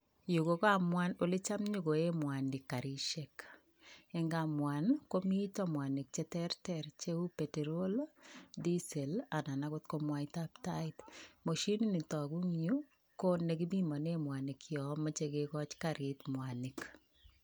Yuu ko kapwan ole cham konyokoen mwanik karishek, en kamwan komiten mwanik cherter cheu peterol lii diesel lii anan ako ko mwaitab tai Mashinit niton Mii yuu ko nekipimonen mwanik yon moche kekochi karit mwanik.